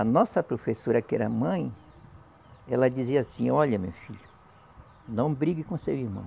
A nossa professora, que era mãe, ela dizia assim, olha meu filho, não brigue com seu irmão.